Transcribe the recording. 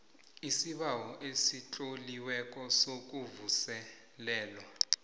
isibawo esitloliweko sokuvuselelwa